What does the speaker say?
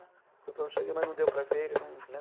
Foi por onde eu cheguei, mas não deu para ver ele, não, né?